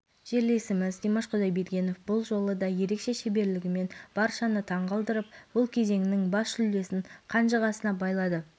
айта кетейік алтай өткен маусымда қосымша жолдама үшін таласта таразды есебімен ұтып премьер-лигаға жолдама алған болатын